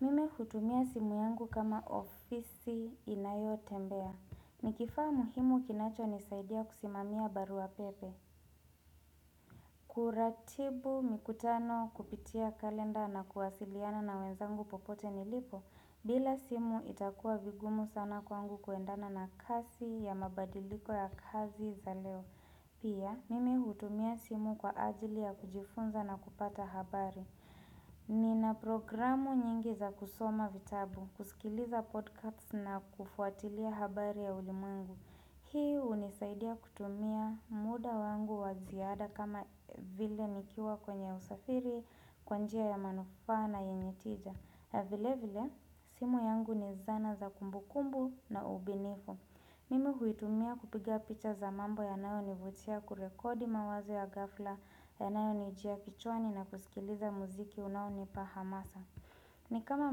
Mimi hutumia simu yangu kama ofisi inayo tembea. Nikifaa muhimu kinacho nisaidia kusimamia barua pepe. Kuratibu mikutano kupitia kalenda na kuwasiliana na wenzangu popote nilipo bila simu itakuwa vigumu sana kwangu kuendana na kasi ya mabadiliko ya kazi za leo. Pia mimi hutumia simu kwa ajili ya kujifunza na kupata habari. Ni na programu nyingi za kusoma vitabu, kusikiliza podcast na kufuatilia habari ya ulimwengu. Hii unisaidia kutumia muda wangu waziada kama vile nikiwa kwenye usafiri, kwanjia ya manufaa na yenye tija. Vile vile, simu yangu ni zana za kumbu kumbu na ubunifu. Mimi huitumia kupiga picha za mambo ya nayo nivutia kurekodi mawazo ya ghafla ya nayo nijia kichwani na kusikiliza muziki unao nipa hamasa. Ni kama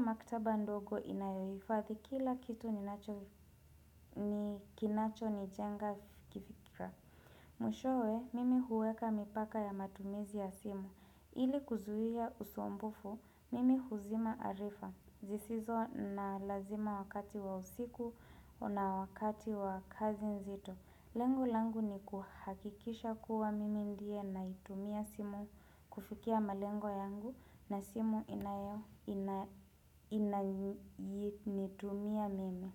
maktaba ndogo inayofadhi, kila kitui kinacho ni jenga kifika. Mwishowe, mimi huweka mipaka ya matumizi ya simu. Ili kuzuia usumbufu, mimi huzima arifa, zisizo na lazima wakati wa usiku, na wakati wa kazi nzito Lengo langu ni kuhakikisha kuwa mimi ndiye naitumia simu kufukia malengo yangu na simu inayitumia mimi.